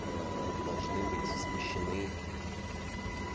должны быть смещены